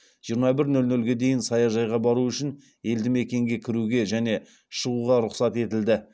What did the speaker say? жиырма бір нөл нөлге дейін саяжайға бару үшін елді мекенге кіруге және шығуға рұқсат етілді